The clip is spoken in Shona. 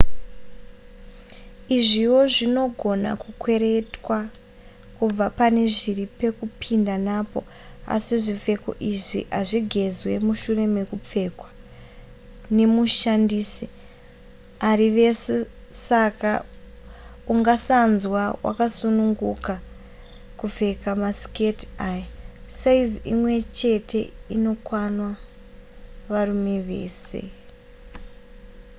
izviwo zvinogona kukweretwa kubva pane zviri pekupinda napo asi zvipfeko izvi hazvigezwe mushure mekupfekwa nemushandisi ari vese saka ungasanzwa wakasununguka kupfeka masiketi aya saizi imwe chete inokwana varume vese